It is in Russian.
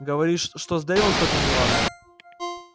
говоришь что с дейвом что-то неладно